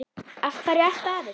Af hverju ertu að þessu?